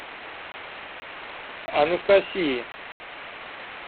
анастасии